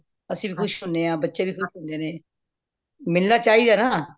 ਅੱਸੀ ਵੀ ਖੁਸ਼ ਹੋਣੇ ਆਂ ਬੱਚੇ ਵੀ ਖੁਸ਼ ਹੁੰਦੇ ਨੇ ਮਿਲਣਾ ਚਾਹਿਦਾ ਨਾ